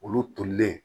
Olu tolilen